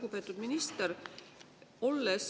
Lugupeetud minister!